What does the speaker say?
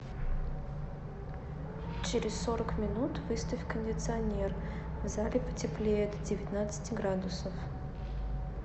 через сорок минут выставь кондиционер в зале потеплее до девятнадцати градусов